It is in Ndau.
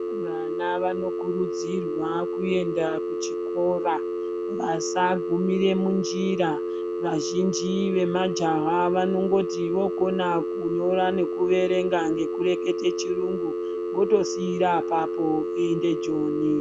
Vana vanokurudzirwa kuenda kuchikora vasagumira munjira. Vazhinji vemajaha vanongoti vokona kunyora nekuerenga nekureketa chirungu wotosiira apapo voenda joni.